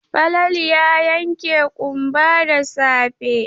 Falalu ya yanke ƙumba da safe.